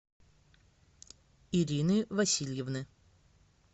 ирины васильевны